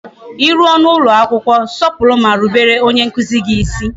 I ruo n'ụlọ akwụkwọ, sọpụrụ ma rubere onye nkuzi gị isi